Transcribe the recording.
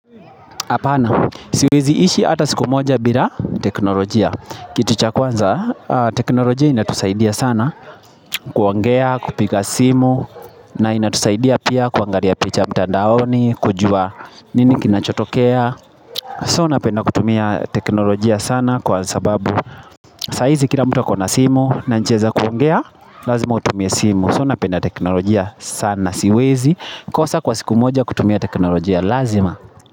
Apana, siwezi ishi hata siku moja bila teknolojia. Kitu cha kwanza aaaa, teknolojia inatusaidia sana kuongea, kupiga simu, na inatusaidia pia kuangalia picha mtandaoni, kujua nini kinachotokea. So napenda kutumia teknolojia sana kwa sababu, sahizi kila mtu ako na simu, na njia kuongea, lazima utumie simu. So napenda teknolojia sana siwezi, kosa kwa siku moja kutumia teknolojia lazima.